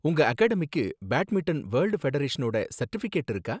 உங்க அகாடமிக்கு badminton world ஃபெடரேஷனோட சர்டிபிகேட் இருக்கா?